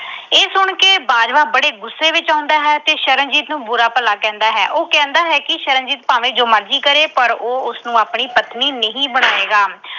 ਤੇ ਬਾਜਵਾ ਬੜੇ ਗੁੱਸੇ ਵਿੱਚ ਆਉਂਦਾ ਹੈ ਤੇ ਸ਼ਰਨਜੀਤ ਨੂੰ ਬੁਰਾ ਭਲਾ ਕਹਿੰਦਾ ਹੈ। ਉਹ ਕਹਿੰਦਾ ਹੈ ਕਿ ਸ਼ਰਨ ਭਾਵੇਂ ਜੋ ਮਰਜੀ ਕਰੇ ਪਰ ਉਹ ਉਸਨੂੰ ਆਪਣੀ ਪਤਨੀ ਨਹੀਂ ਬਣਾਏਗਾ।